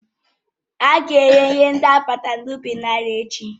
Ága ere ihe ndị akpatara n'ubi n'ahịa echi